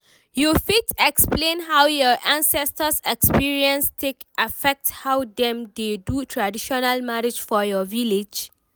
you fit explain how your ancestors experience take affect how them dey do traditional marriage for your village?